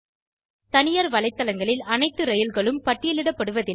தனியார் வலைத்தளங்களில் அனைத்து ரயில்களும் பட்டியலிடப்படுவதில்லை